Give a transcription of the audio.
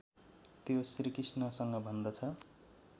त्यो श्रीकृष्णसँग भन्दछ